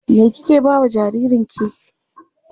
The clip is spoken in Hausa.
Me kike ba wa jaririnki?